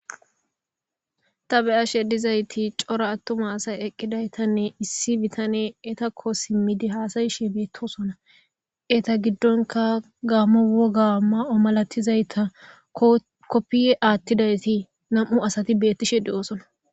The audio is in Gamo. Ta be'ashedizayti cora attuma asay eqqidaytanne issi bitane etakko simmidi haasayishie beettosona eta giddonka gaamo woga ma'o malatizayta koppiye aattidayti nam'u asati beettishe de'oosona.